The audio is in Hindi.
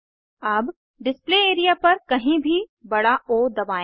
अब डिस्प्ले एरिया पर कहीं भी बड़ा ओ दबाएं